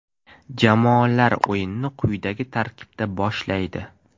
Jamoalar o‘yinni quyidagi tarkibda boshlaydi.